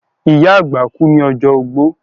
ìyá àgbà kú ní ọjọ́ ogbó.